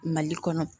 Mali kɔnɔ